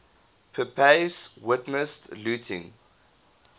pepys witnessed looting